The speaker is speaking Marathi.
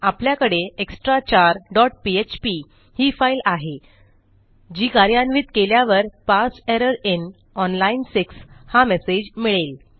आपल्याकडे एक्सट्राचार डॉट पीएचपी ही फाईल आहे जी कार्यान्वित केल्यावर पारसे एरर inओन लाईन 6 हा मेसेज मिळेल